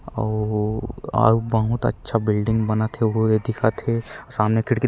अऊ अऊ बहुत अच्छा बिल्डिंग बना थे उहु ए दिखा थे अऊ सामने खिड़की--